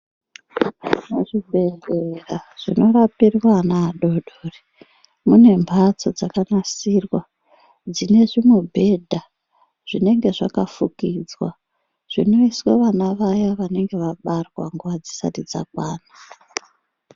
Muchibhedhlera munopinde ana adodori mune mhatso dzakanasirwa dzine zvimubhedha zvinenge zvakafukidzwa zvinoiswe vana vaya vanenge vabarwa nguwa dzisati dzakwana.